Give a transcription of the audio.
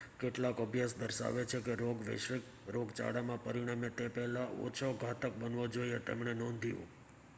કેટલાક અભ્યાસ દર્શાવે છે કે રોગ વૈશ્વિક રોગચાળામાં પરિણમે તે પહેલાં ઓછો ઘાતક બનવો જોઈએ તેમણે નોંધ્યું